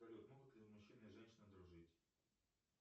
салют могут ли мужчина и женщина дружить